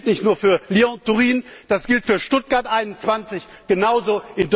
Das gilt nicht nur für Lyon Turin, das gilt für Stuttgart 21 genauso.